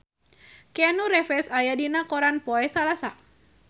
Keanu Reeves aya dina koran poe Salasa